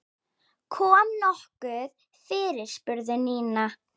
Kom nokkuð fyrir? spurði Nína.